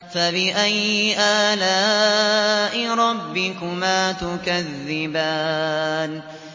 فَبِأَيِّ آلَاءِ رَبِّكُمَا تُكَذِّبَانِ